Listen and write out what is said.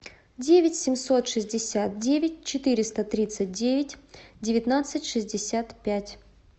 девять семьсот шестьдесят девять четыреста тридцать девять девятнадцать шестьдесят пять